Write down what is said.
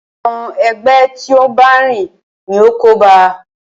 Àwọn ẹgbẹ́ tí o n bá rìn ní o kóba a.